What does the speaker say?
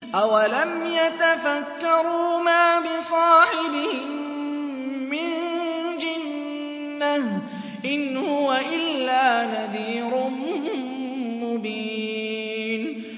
أَوَلَمْ يَتَفَكَّرُوا ۗ مَا بِصَاحِبِهِم مِّن جِنَّةٍ ۚ إِنْ هُوَ إِلَّا نَذِيرٌ مُّبِينٌ